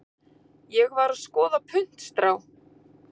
Ég var að skoða puntstrá.